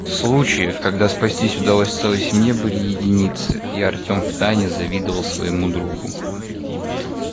случаев когда спастись удалось целой семье были единицы и артём втайне завидовал своему другу